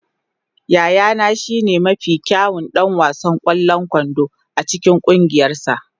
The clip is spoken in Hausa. Yayana shine mafi kyawun ɗan wasan ƙwallon kwando a cikin ƙungiyarsa.